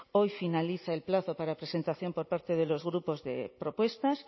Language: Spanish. hoy finaliza el plazo para presentación por parte de los grupos de propuestas